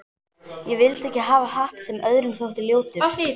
Ég vildi ekki hafa hatt sem öðrum þótti ljótur.